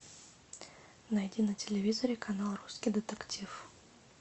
найди на телевизоре канал русский детектив